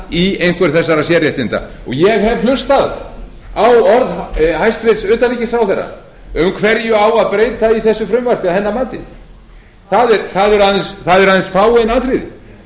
í einhver þessara sérréttinda ég hef hlustað á orð hæstvirts utanríkisráðherra um hverju á að breyta í þessu frumvarpi að hennar mati það eru aðeins fáein atriði